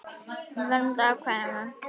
Verndun afkvæma